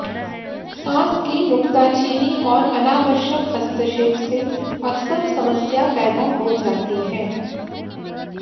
सास की नुक्ताचीनी और अनावश्यक हस्तक्षेप से अक्सर समस्या पैदा हो जाती है